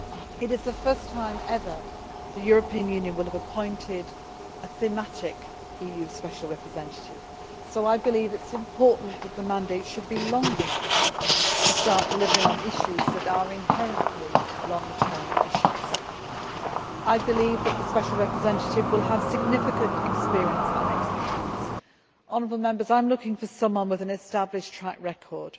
It is the first time ever that the European Union will have appointed a thematic EU Special Representative so I believe it is important that the mandate should be long enough to start delivering on issues that are inherently long term issues. I believe that the Special Representative will have significant experience and expertise. I am looking for somebody with an established track record,